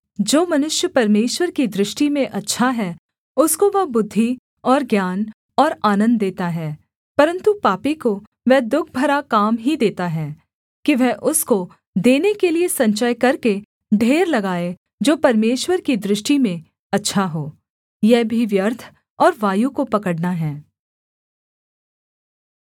जो मनुष्य परमेश्वर की दृष्टि में अच्छा है उसको वह बुद्धि और ज्ञान और आनन्द देता है परन्तु पापी को वह दुःख भरा काम ही देता है कि वह उसको देने के लिये संचय करके ढेर लगाए जो परमेश्वर की दृष्टि में अच्छा हो यह भी व्यर्थ और वायु को पकड़ना है